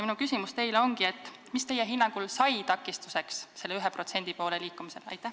Minu küsimus teile ongi: mis teie hinnangul sai takistuseks selle 1% poole liikumisel?